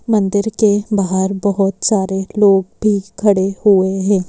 मंदिर के बाहर बोहोत सारे लोग भी खड़े हुए हैं।